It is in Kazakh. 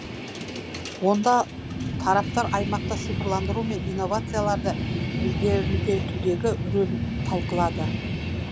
онда тараптар аймақта цифрландыру мен инновацияларды ілгерілетудегі рөлін талқылады